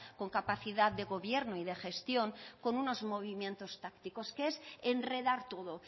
con capacidad de gobierno y de gestión con unos movimientos tácticos que es enredar todo